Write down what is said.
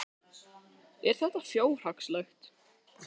Er þetta fjárhagslegt?